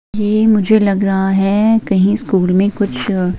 ये मुझे लग रहा है कहीं स्कूल में कुछ --